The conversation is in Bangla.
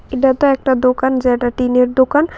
এটাতো একটা দোকান যেইটা টিনের দোকান।